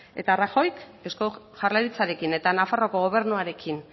eta rajoyk eusko jaurlaritzarekin eta nafarroko gobernuarekin